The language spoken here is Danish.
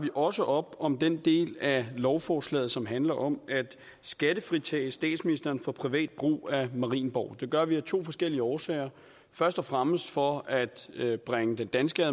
også op om den del af lovforslaget som handler om at skattefritage statsministeren for privat brug af marienborg det gør vi af to forskellige årsager først og fremmest for at bringe den danske